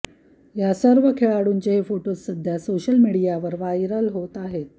या सर्वे खेळाडूंचे हे फोटोज सध्या सोशल मीडियावर वायरल होत आहे